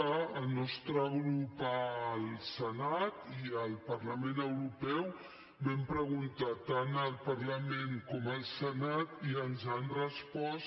el nostre grup al senat i al parlament europeu vam preguntar tant al parlament com al senat i ens han respost